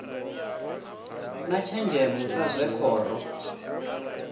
na thenzhemo sa zwe khoro